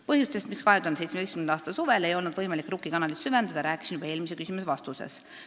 " Põhjustest, miks 2017. aasta suvel ei olnud võimalik Rukki kanalit süvendada, rääkisin juba eelmise küsimuse vastuses.